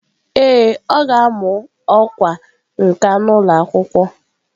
Ee, ọ ga-amụ ọkwá nkà n'ụlọ akwụkwọ.